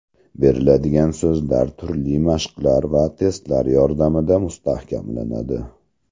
Beriladigan so‘zlar turli mashqlar va testlar yordamida mustahkamlanadi.